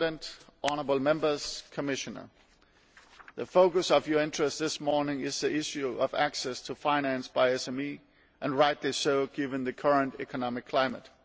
Mr President, honourable Members, Commissioner, the focus of your interest this morning is the issue of access to finance by SMEs and rightly so, given the current economic climate.